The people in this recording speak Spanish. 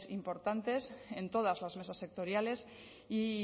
importantes en todas las mesas sectoriales y